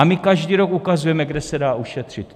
A my každý rok ukazujeme, kde se dá ušetřit.